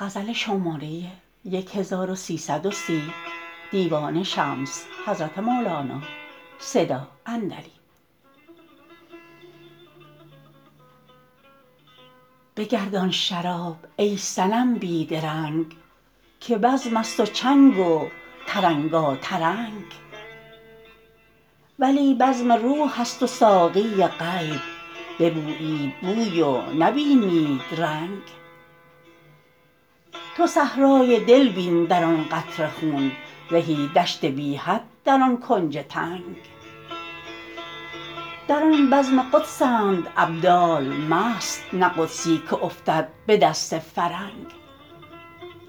بگردان شراب ای صنم بی درنگ که بزمست و چنگ و ترنگاترنگ ولی بزم روحست و ساقی غیب ببویید بوی و نبینید رنگ تو صحرای دل بین در آن قطره خون زهی دشت بی حد در آن کنج تنگ در آن بزم قدسند ابدال مست نه قدسی که افتد به دست فرنگ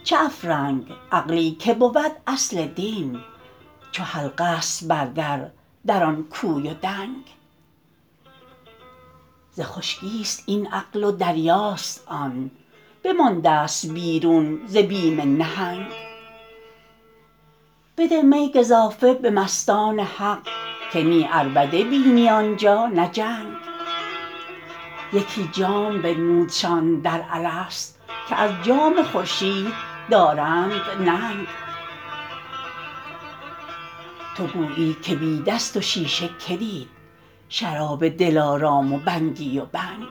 چه افرنگ عقلی که بود اصل دین چو حلقه ست بر در در آن کوی و دنگ ز خشکیست این عقل و دریاست آن بمانده است بیرون ز بیم نهنگ بده می گزافه به مستان حق که نی عربده بینی آن جا نه جنگ یکی جام بنمودشان در الست که از جام خورشید دارند ننگ تو گویی که بی دست و شیشه که دید شراب دلارام و بگنی و بنگ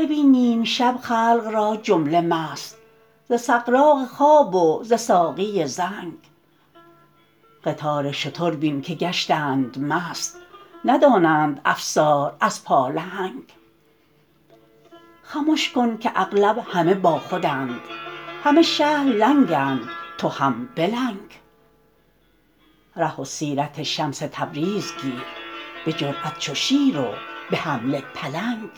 ببین نیم شب خلق را جمله مست ز سغراق خواب و ز ساقی زنگ قطار شتر بین که گشتند مست ندانند افسار از پالهنگ خمش کن که اغلب همه باخودند همه شهر لنگند تو هم بلنگ ره سیرت شمس تبریز گیر به جرات چو شیر و به حمله پلنگ